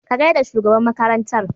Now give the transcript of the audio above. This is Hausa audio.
Ka gaida shugaban makarantar.